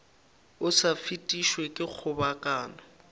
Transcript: o sa fetišwe ke kgobokano